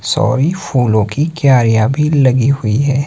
Sorry फूलों की क्या यहां भीड़ लगी हुईं हैं।